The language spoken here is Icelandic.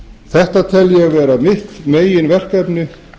þetta tel ég vera mitt meginverkefni